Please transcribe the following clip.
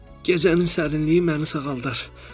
Gecənin sərinliyi məni sağaldar.